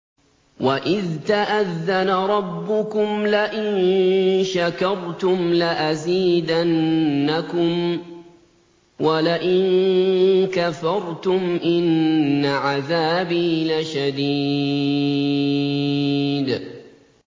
وَإِذْ تَأَذَّنَ رَبُّكُمْ لَئِن شَكَرْتُمْ لَأَزِيدَنَّكُمْ ۖ وَلَئِن كَفَرْتُمْ إِنَّ عَذَابِي لَشَدِيدٌ